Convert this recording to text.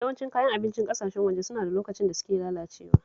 Yawancin Kayan abincin ƙasashen waje suna da lokacin da suke lalacewa